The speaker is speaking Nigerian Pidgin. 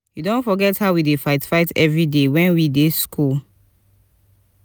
you don forget how we dey fight fight every day wen we dey school